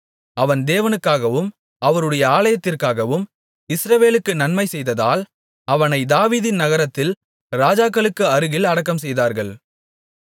அவன் தேவனுக்காகவும் அவருடைய ஆலயத்திற்காகவும் இஸ்ரவேலுக்கு நன்மை செய்ததால் அவனை தாவீதின் நகரத்தில் ராஜாக்களுக்கு அருகில் அடக்கம்செய்தார்கள்